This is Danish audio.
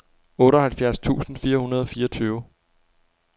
otteoghalvfjerds tusind fire hundrede og fireogtyve